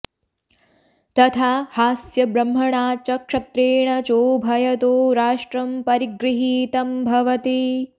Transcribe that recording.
तथा॑ हास्य॒ ब्रह्म॑णा च क्ष॒त्त्रेण॑ चोभ॒यतो॑ रा॒ष्ट्रं परि॑गृहीतं भवति